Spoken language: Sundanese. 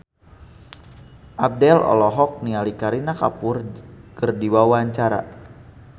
Abdel olohok ningali Kareena Kapoor keur diwawancara